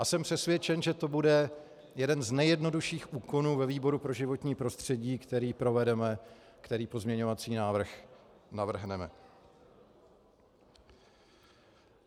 A jsem přesvědčen, že to bude jeden z nejjednodušších úkonů ve výboru pro životní prostředí, který provedeme, který pozměňovací návrh navrhneme.